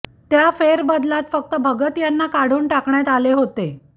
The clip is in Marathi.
त्या फेरबदलात फक्त भगत यांना काढून टाकण्यात आले होते